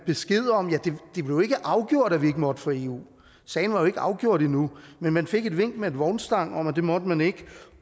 besked om ja det blev ikke afgjort at vi ikke måtte for eu sagen var jo ikke afgjort endnu men man fik et vink med en vognstang om at det måtte man ikke